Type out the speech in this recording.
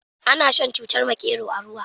Ana shan cutar makero a ruwa.